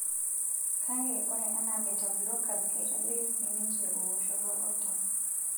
Kake, ore anaa beta blockers, keitadoyio sii ninche ewoshoto oltau.